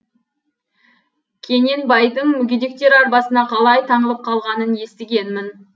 кененбайдың мүгедектер арбасына қалай таңылып қалғанын естігенмін